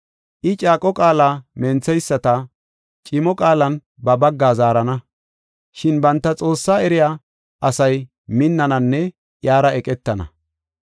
I caaqo qaala mentheyisata, cimo qaalan ba bagga zaarana; shin banta Xoossaa eriya asay minnananne iyara eqetana.